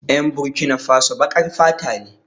Yan Burkinafaso baƙar fata ne